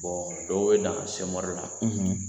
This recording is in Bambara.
Bon dɔw ye danna sɛmɔri la